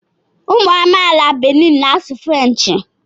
Ụmụ amaala Benin na-asụ Frenchị